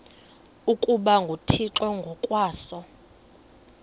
ukuba nguthixo ngokwaso